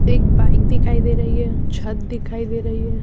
एक बाइक दिखाई दे रही है ।छत दिखाई दे रही है।